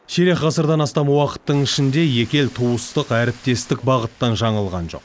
ширек ғасырдан астам уақыттың ішінде екі ел туыстық әріптестік бағыттан жаңылған жоқ